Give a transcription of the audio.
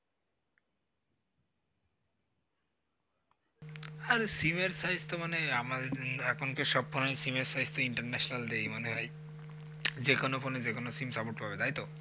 আর sim র size তো আমার এখন তো সব ফোনেই sim র size international দেয় মনে হয় যে কোন phone যে কোন sim support পাবে তাই তো